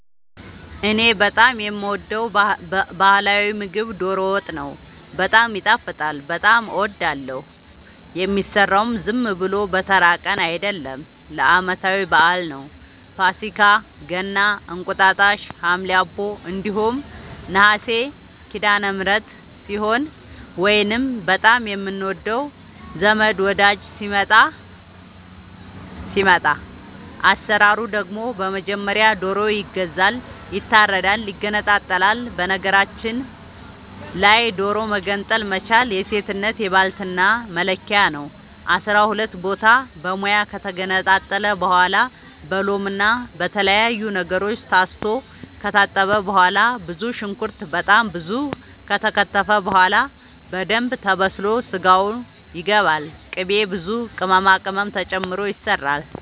እኔ በጣም የምወደው በህላዊ ምግብ ዶሮ ወጥ ነው። በጣም ይጣፍጣል በጣም አወዳለሁ። የሚሰራውም ዝም ብሎ በተራ ቀን አይደለም ለአመታዊ በአል ነው። ፋሲካ ገና እንቁጣጣሽ ሀምሌ አቦ እንዲሁም ነሀሴ ሲዳለምህረት ሲሆን ወይንም በጣም የምንወደው ዘመድ ወዳጅ ሲመጣ። አሰራሩ ደግሞ በመጀመሪያ ዶሮ ይገዛል ይታረዳል ይገነጣጠላል በነገራችል ላይ ዶሮ መገንጠል መቻል የሴትነት የባልትና መለኪያ ነው። አስራሁለት ቦታ በሙያ ከተገነጣጠለ በኋላ በሎምና በተለያዩ ነገሮች ታስቶ ከታጠበ በኋላ ብዙ ሽንኩርት በጣም ብዙ ከተከተፈ በኋላ በደንብ ተበስሎ ስጋው ይገባል ቅቤ ብዙ ቅመማ ቅመም ተጨምሮ ይሰራል